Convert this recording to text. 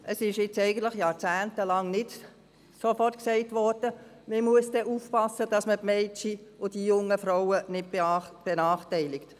» Es wurde jahrzehntelang nicht gleich sofort gesagt, dass man aufpassen muss, die Mädchen und jungen Frauen nicht zu benachteiligen.